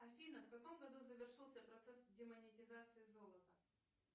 афина в каком году завершился процесс демонетизации золота